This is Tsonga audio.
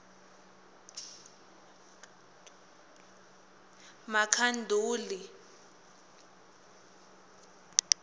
makhanduli